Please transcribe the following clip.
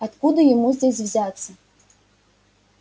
откуда ему здесь взяться